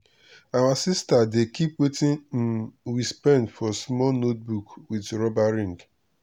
our sister dey keep watin um we spend for small notebook with rubber ring.